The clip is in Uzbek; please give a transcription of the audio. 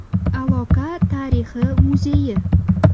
Aloqa tarixi muzeyi.